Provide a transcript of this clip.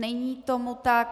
Není tomu tak.